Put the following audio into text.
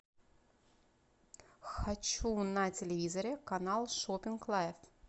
хочу на телевизоре канал шоппинг лайф